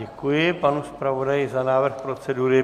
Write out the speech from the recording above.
Děkuji panu zpravodaji za návrh procedury.